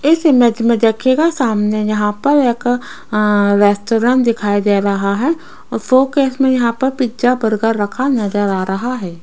इस इमेज में देखिएगा सामने यहां पर एक अ रेस्टोरेंट दिखाई दे रहा है फोकस में यहां पर पिज्जा बर्गर रखा नजर आ रहा है।